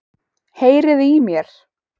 Heyriði í mér?